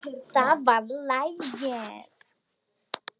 Það var lagið.